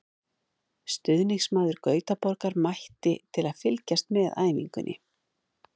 Stuðningsmaður Gautaborgar mætti til að fylgjast með æfingunni.